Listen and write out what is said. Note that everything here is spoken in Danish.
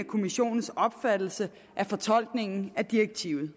kommissionens opfattelse af fortolkningen af direktivet